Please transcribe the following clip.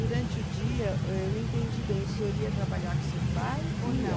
Durante o dia, eu não entendi bem, o senhor ia trabalhar com o seu pai ou não?